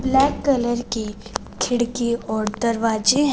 black colour की खिड़की और दरवाजे--